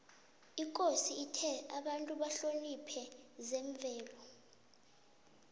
ikosi ithe abantu bahloniphe zemvelo